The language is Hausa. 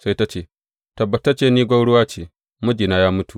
Sai ta ce, Tabbatacce, ni gwauruwa ce; mijina ya mutu.